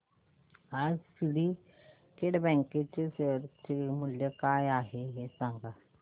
आज सिंडीकेट बँक च्या शेअर चे मूल्य काय आहे हे सांगा